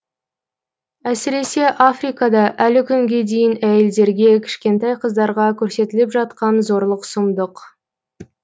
әсіресе африкада әлі күнге дейін әйелдерге кішкентай қыздарға көрсетіліп жатқан зорлық сұмдық